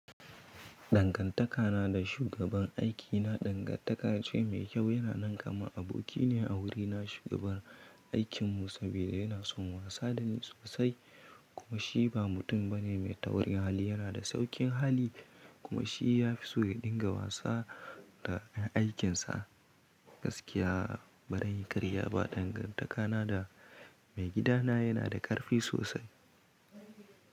Dangantakana da shugaban aikina dangantaka ce mai kyau. Yana nan kamar abokine a wurina, shugaban aikinmu, saboda yana son wasa da ni sosai. Kuma shi ba mutum bane mai taurin hali. Yana da sauƙin hali kuma shi yafi so ya dinga wasa da 'yan aikinsa. Gaskiya, bari zanyi ƙarya ba, dangantakana da maigidana yana da ƙarfi sosai.